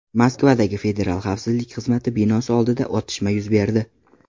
Moskvadagi Federal xavfsizlik xizmati binosi oldida otishma yuz berdi.